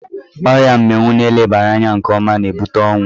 Ọrịa mminwu na elebara anya nke ọma na-ebute ọnwụ.